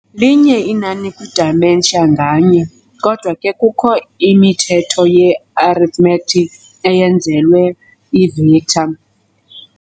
Linye inani kwi-dimension nganye, Kodwa ke kukho imithetho ye-arithmetic eyenzelwe ii-vector.